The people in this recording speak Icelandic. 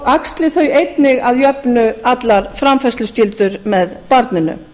axli þau einnig að jöfnu allar framfærsluskyldur með barninu